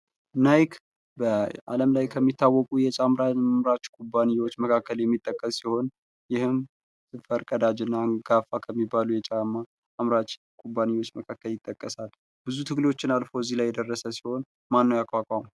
ናይክ በዓለም ላይ ከሚታወቁ የጫም አምራች ኩባንያዎች መካከል የሚጠቀስ ሲሆን ፤ ይህም ፈርቀዳጅ እና አንጋፋ ከሚባሉ የጫማ አምራች ኩባንያዎች መካከል ይጠቀሳል። ብዙ ትግሎችን አልፎ እዚህ ላይ የደረሰ ሲሆን ማን ነው ያቋቋመው።